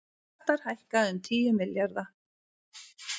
Skattar hækka um tíu milljarða